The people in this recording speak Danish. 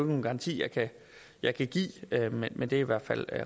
nogen garanti jeg kan give men det er i hvert fald